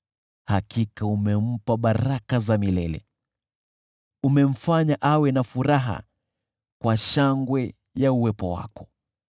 Hakika umempa baraka za milele, umemfanya awe na furaha kwa shangwe ya uwepo wako.